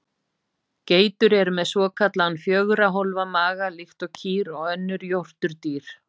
Geitur eru með svokallaðan fjögurra hólfa maga líkt og kýr og önnur jórturdýr.